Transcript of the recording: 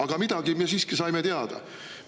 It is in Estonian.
Aga midagi me siiski saime teada.